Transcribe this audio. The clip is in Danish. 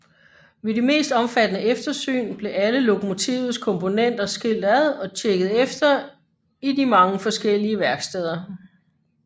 Ved de mest omfattende eftersyn blev alle lokomotivets komponenter skilt ad og tjekket efter i de mange forskellige værksteder